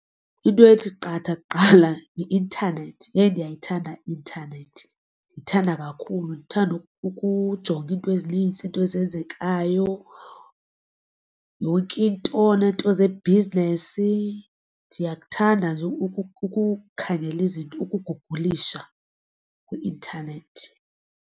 Into ethi qatha kuqala yi-intanethi. Yheyi ndiyayithanda i-intanethi ndiyithanda kakhulu. Ndithanda ukujonga iinto ezinintsi iinto ezenzekayo yonke into neento zebhizinesi, ndiyakuthanda nje ukukhangela izinto ukugugulisha kwi-intanethi.